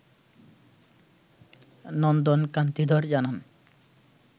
নন্দন কান্তি ধর জানান